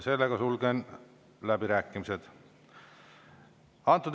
Sulgen läbirääkimised.